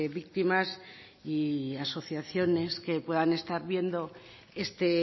víctimas y asociaciones que puedan estar viendo este